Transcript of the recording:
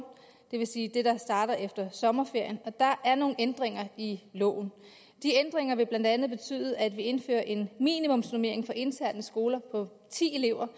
det vil sige det skoleår der starter efter sommerferien og der er nogle ændringer i loven de ændringer vil blandt andet betyde at vi indfører en minimumsnormering for interne skoler på ti elever